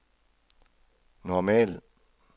normal